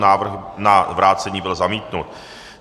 Návrh na vrácení byl zamítnut.